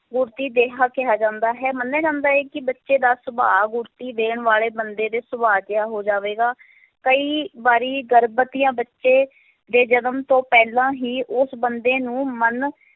ਗੁੜਤੀ ਦੇਹਾ ਕਿਹਾ ਜਾਂਦਾ ਹੈ, ਮਨਿਆ ਜਾਂਦਾ ਹੈ ਕਿ ਬੱਚੇ ਦਾ ਸੁਭਾਅ ਗੁੜਤੀ ਦੇਣ ਵਾਲੇ ਬੰਦੇ ਦੇ ਸੁਭਾਅ ਜਿਹਾ ਹੋ ਜਾਵੇਗਾ, ਕਈ ਵਾਰੀ ਗਰਭਵਤੀਆਂ ਬੱਚੇ ਦੇ ਜਨਮ ਤੋਂ ਪਹਿਲਾਂ ਹੀ ਉਸ ਬੰਦੇ ਨੂੰ ਮਨ